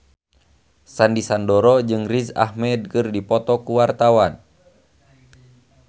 Sandy Sandoro jeung Riz Ahmed keur dipoto ku wartawan